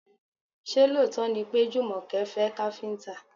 Ṣé lóòótọ́ ni pé Jùmọ̀kẹ́ fẹ́ káfíńtà?